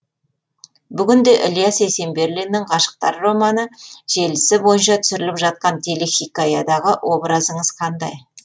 бүгін де ілияс есенберлиннің ғашықтар романы желісі бойынша түсіріліп жатқан телехикаядағы образыңыз қандай